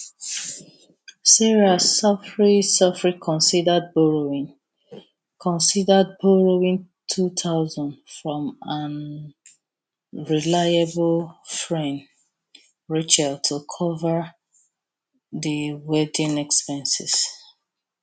sarah sofri sofri considered borrowing considered borrowing two thousand from am reliable fren rachel to cover di wedding expenses